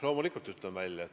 Loomulikult ütlen välja.